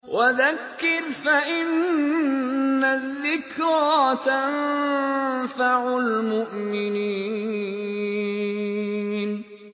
وَذَكِّرْ فَإِنَّ الذِّكْرَىٰ تَنفَعُ الْمُؤْمِنِينَ